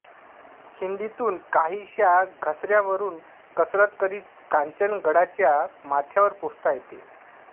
खिंडीतून काहीश्या घसाऱ्यावरुन कसरत करीत कांचनगडाच्या माथ्यावर पोहोचता येते